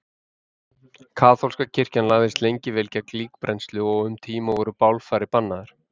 Kaþólska kirkjan lagðist lengi vel gegn líkbrennslu og um tíma voru bálfarir bannaðar.